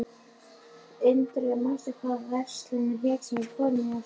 Ingrid, manstu hvað verslunin hét sem við fórum í á sunnudaginn?